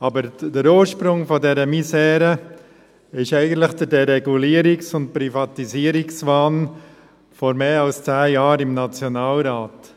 Aber der Ursprung dieser Misere ist eigentlich der Deregulierungs- und Privatisierungswahn vor mehr als zehn Jahren im Nationalrat.